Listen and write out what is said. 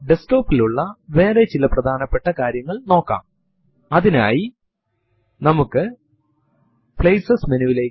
ഈ വിവരണങ്ങളെല്ലാം സ്ക്രീനിൽ പ്രദർശിപ്പിക്കുന്നതിനു പകരം ഒരു file ൽ ശേഖരിച്ചു വയ്ക്കാൻ പറ്റും